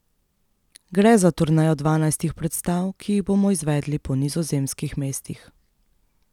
Gre za turnejo dvanajstih predstav, ki jih bomo izvedli po nizozemskih mestih.